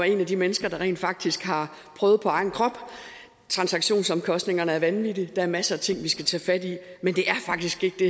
et af de mennesker der rent faktisk har prøvet på egen krop transaktionsomkostningerne er vanvittige og der er masser af ting vi skal tage fat i men det er faktisk ikke det